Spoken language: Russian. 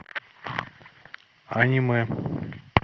аниме